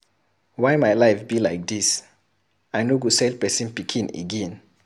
Why my life be like dis. I no go sell person pikin again.